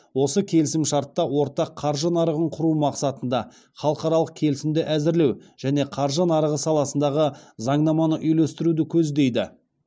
осы келісімшартта ортақ қаржы нарығын құру мақсатында халықаралық келісімді әзірлеу және қаржы нарығы саласындағы заңнаманы үйлестіруді көздейді